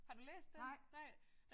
Har du læst den? Nej